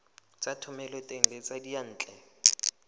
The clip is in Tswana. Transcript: tsa thomeloteng le tsa diyantle